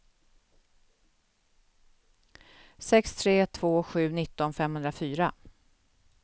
sex tre två sju nitton femhundrafyra